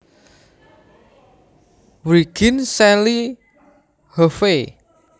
Wriggins Sally Hovey